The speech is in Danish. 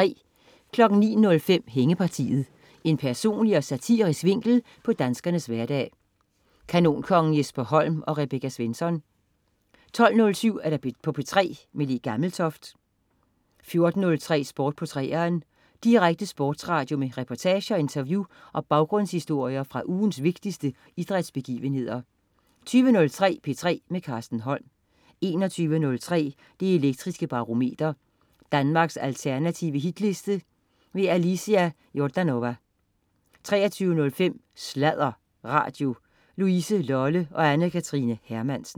09.05 Hængepartiet. En personlig og satirisk vinkel på danskernes hverdag. Kanonkongen Jesper Holm og Rebecca Svensson 12.07 P3 med Le Gammeltoft 14.03 Sport på 3'eren. Direkte sportsradio med reportager, interview og baggrundshistorier fra ugens vigtigste idrætsbegivenheder 20.03 P3 med Carsten Holm 21.03 Det Elektriske Barometer. Danmarks alternative Hitliste. Alicia Jordanova 23.05 Sladder Radio. Louise Lolle og Anne Kathrine Hermansen